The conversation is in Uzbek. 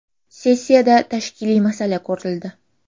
Sessiyada tashkiliy masala ko‘rildi.